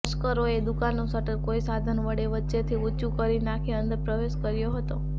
તસ્કરોએ દુકાનનું શટર કોઇ સાધન વડે વચ્ચેથી ઊંચંુ કરી નાંખી અંદર પ્રવેશ કર્યો હતો